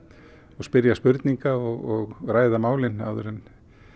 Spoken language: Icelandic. og spyrja spurninga og ræða málin áður en